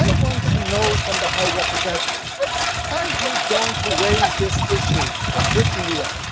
I want to know from the High Representative if you are you going to raise this issue with the UN?